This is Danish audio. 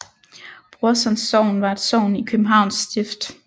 Brorsons Sogn var et sogn i Københavns Stift